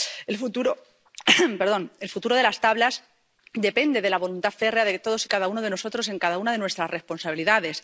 El futuro de las Tablas depende de la voluntad férrea de todos y cada uno de nosotros en cada una de nuestras responsabilidades.